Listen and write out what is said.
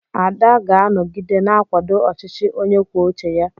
Ada ga-anọgide na-akwado ọchịchị onye kwuo uche ya.